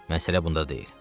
Məsələ bunda deyil.